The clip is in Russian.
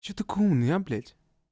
что такой умный а блять